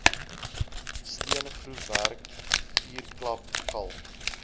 steengroefwerk vuurklap kalk